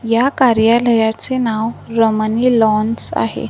या कार्यालयाचे नाव रमणी लॉन्स आहे.